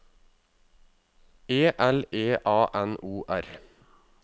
E L E A N O R